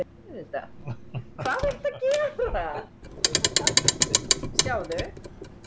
Kristján: Hvað finnst þér líklegt um framhaldið á þessu gosi?